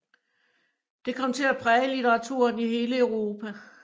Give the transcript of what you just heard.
Det kom til at præge litteraturen i hele Europa